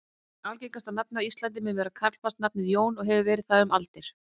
Algengasta nafnið á Íslandi mun vera karlmannsnafnið Jón og hefur verið það um aldir.